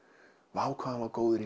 vá hvað hann var góður í